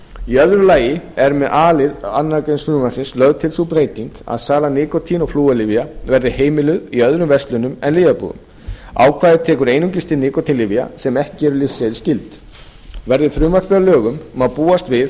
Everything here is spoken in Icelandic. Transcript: í öðru lagi er með a lið annarrar greinar frumvarpsins lögð til sú breyting að sala nikótín og flúorlyfja verði heimiluð í öðrum verslunum en lyfjabúðum ákvæðið tekur einungis til nikótínlyfja sem ekki eru lyfseðilsskyld verði frumvarpið að lögum má búast við